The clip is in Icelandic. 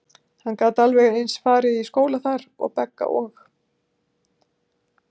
Hann gat alveg eins farið í skóla þar, og Begga og